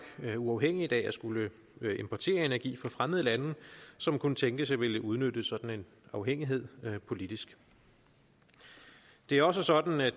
uafhængigt af at skulle importere energi fra fremmede lande som kunne tænkes at ville udnytte sådan en afhængighed politisk det er også sådan at